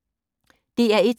DR1